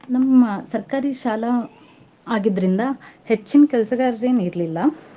ನಮ್ಮ ಸರ್ಕಾರಿ ಶಾಲಾ ಆಗಿದ್ರಿಂದ ಹೆಚ್ಚಿನ್ ಕೆಲ್ಸಗಾರ್ ಎನ್ ಇರ್ಲಿಲ್ಲಾ.